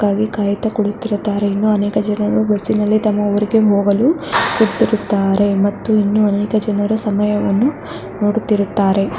ಗಾಗಿ ಕಾಯುತ್ತಾ ಕುಳಿತಿರುತ್ತಾರೆ. ಅನೇಕ ಜನರು ಬಸ್ಸಿನಲ್ಲಿ ತಮ್ಮ ಊರಿಗೆ ಹೋಗಲು ಕುಳಿತಿರುತ್ತಾರೆ ಮತ್ತು ಇನ್ನೂ ಅನೇಕ ಜನರು ಸಮಯವನ್ನು ನೋಡುತ್ತಿರುತ್ತಾರೆ.